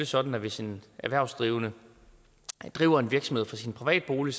sådan at hvis en erhvervsdrivende driver en virksomhed fra sin private bolig